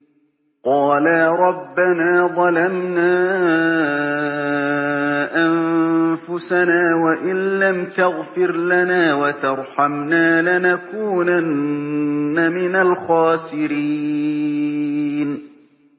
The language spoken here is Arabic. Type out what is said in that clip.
قَالَا رَبَّنَا ظَلَمْنَا أَنفُسَنَا وَإِن لَّمْ تَغْفِرْ لَنَا وَتَرْحَمْنَا لَنَكُونَنَّ مِنَ الْخَاسِرِينَ